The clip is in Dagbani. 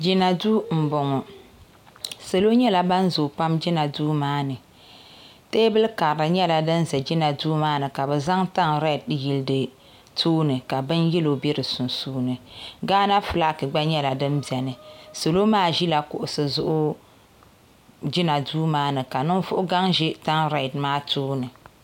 Jina duu n boŋɔ salo nyɛla ban zooi pam jina duu maani teebuli karili nyɛla din ʒɛ jina duiu maa ni ka bi zaŋ tani reed n yili di zuɣu ka bin yɛlo bɛ di sunsuuni gaana fulak gba nyɛla din biʋni salo maa ʒila kuɣusi zuɣu jina dui maa ni ka ninvuɣu gaŋ ʒi tan reed maa tooni